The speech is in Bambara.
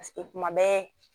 Paseke kuma bɛɛ